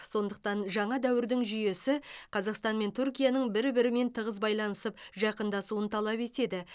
сондықтан жаңа дәуірдің жүйесі қазақстан мен түркияның бір бірімен тығыз байланысып жақындасуын талап етеді